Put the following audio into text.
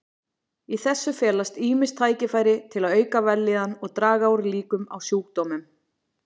Í þessu felast ýmis tækifæri til að auka vellíðan og draga úr líkum á sjúkdómum.